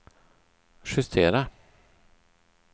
justera